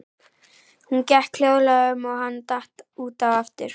Hún gekk hljóðlega um og hann datt út af aftur.